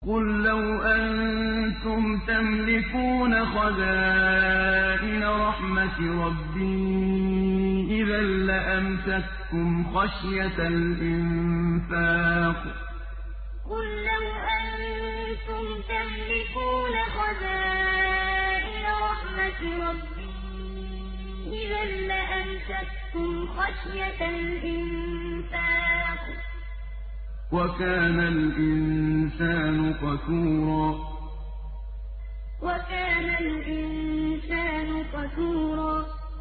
قُل لَّوْ أَنتُمْ تَمْلِكُونَ خَزَائِنَ رَحْمَةِ رَبِّي إِذًا لَّأَمْسَكْتُمْ خَشْيَةَ الْإِنفَاقِ ۚ وَكَانَ الْإِنسَانُ قَتُورًا قُل لَّوْ أَنتُمْ تَمْلِكُونَ خَزَائِنَ رَحْمَةِ رَبِّي إِذًا لَّأَمْسَكْتُمْ خَشْيَةَ الْإِنفَاقِ ۚ وَكَانَ الْإِنسَانُ قَتُورًا